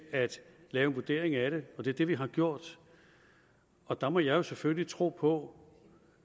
lave en vurdering af det det er det vi har gjort og der må jeg selvfølgelig tro på